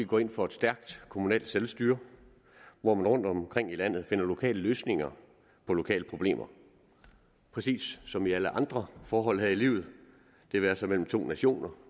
går ind for et stærkt kommunalt selvstyre hvor man rundtomkring i landet finder lokale løsninger på lokale problemer præcis som i alle andre forhold her i livet det være sig mellem to nationer